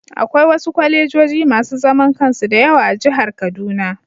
Akwai wasu kwalejoji masu zaman kansu da yawa a jihar kaduna